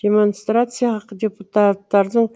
демонстрацияға депутаттардың